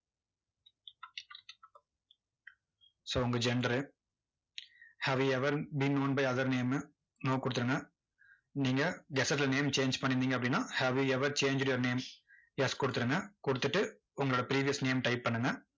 so உங்க gender have you ever been known by other name no கொடுத்துருங்க. நீங்க gazette ல name change பண்ணிருந்தீங்க அப்படின்னா have you ever changed your name yes கொடுத்துருங்க. கொடுத்துட்டு உங்களோட previous name type பண்ணுங்க.